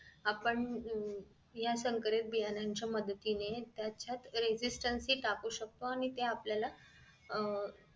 आपण हम्म या संकरित बियाणाच्या मदतीनं त्याच्यात registency टाकू शकतो आणि ते आपल्याला आह